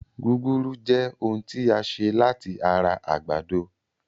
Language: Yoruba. Gúgúrú Jẹ́ ohun tí a ṣe láti ara àgbàdo